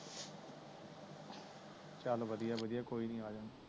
ਚਲ ਵਧਿਆ ਵਧਿਆ ਕੋਈ ਨੀ ਆਲਾਨ